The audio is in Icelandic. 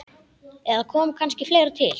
Eða kom kannski fleira til?